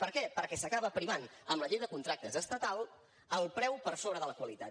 per què perquè s’acaba primant amb la llei de contractes estatal el preu per sobre de la qualitat